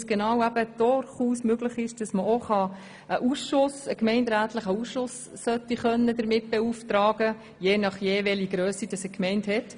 Dies, weil es durchaus möglich ist, einen gemeinderätlichen Ausschuss zu beauftragen, je nachdem, welche Grösse eine Gemeinde hat.